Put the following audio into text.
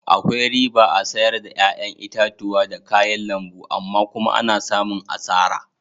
Akwai riba a'sayar da yayan itatuwa da kayan lambu amma kuma ana samun asara.